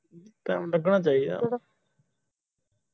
time ਲੱਗਣਾ ਚਾਹੀਦਾ